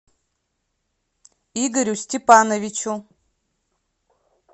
игорю степановичу